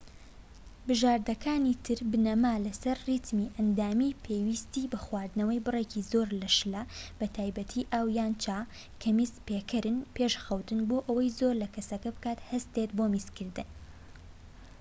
بژاردەکانی تر بنەما لەسەر ریتمی ئەندامی پێویستی بە خواردنەوەی بڕێکی زۆرە لە شلە بە تایبەتی ئاو یان چا، کە میز پێکەرن پێش خەوتن، بۆ ئەوەی زۆر لە کەسەکە بکات هەستێت بۆ میزکردن